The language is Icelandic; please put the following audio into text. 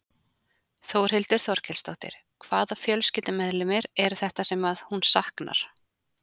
Þórhildur Þorkelsdóttir: Hvaða fjölskyldumeðlimir eru þetta sem að hún saknar?